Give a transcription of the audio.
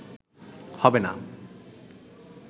হবে না